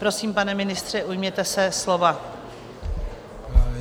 Prosím, pane ministře, ujměte se slova.